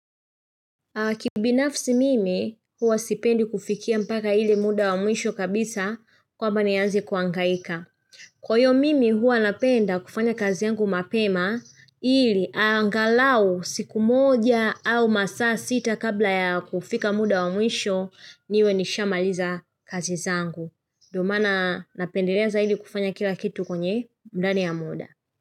Kibinafsi mimi, huwa sipendi kufikia mpaka hile muda wa mwisho kabisa kwamba ni anze kuangaika. Kwa hiyo mimi, huwa napenda kufanya kazi yangu mapema, hili angalau siku moja au masaa sita kabla ya kufika muda wa mwisho niwe nishamaliza kazi zangu. Ndio maana napendelea za hili kufanya kila kitu kwenye ndani ya muda.